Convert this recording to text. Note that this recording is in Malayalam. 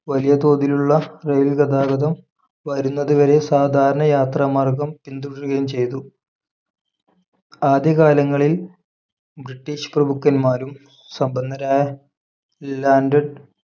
വലിയ തോതിലുള്ള റെയിൽ‌ ഗതാഗതം വരുന്നതുവരെ സാധാരണ യാത്രാമാർഗ്ഗം പിന്തുടരുകയും ചെയ്തു ആദ്യകാലങ്ങളിൽ ബ്രിട്ടീഷ് പ്രഭുക്കന്മാരും സമ്പന്നരായ ലാൻഡഡ്